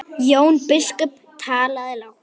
Jón biskup talaði lágt.